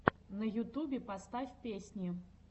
на ютубе поставь песни